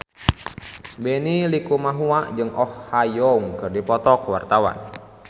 Benny Likumahua jeung Oh Ha Young keur dipoto ku wartawan